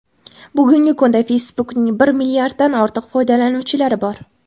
Bugungi kunda Facebook’ning bir milliarddan ortiq foydalanuvchilari bor.